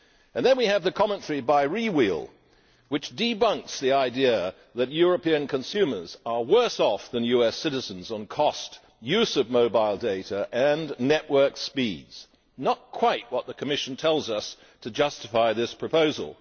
Then we have the commentary by Rewheel, which debunks the idea that European consumers are worse off than US citizens on cost, use of mobile data and network speeds not quite what the Commission tells us in order to justify this proposal.